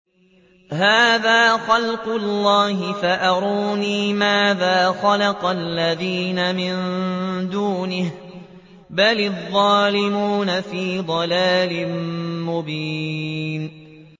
هَٰذَا خَلْقُ اللَّهِ فَأَرُونِي مَاذَا خَلَقَ الَّذِينَ مِن دُونِهِ ۚ بَلِ الظَّالِمُونَ فِي ضَلَالٍ مُّبِينٍ